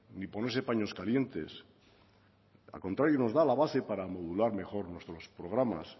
ni ponerse paños calientes al contrario nos da la base para modular mejor nuestros programas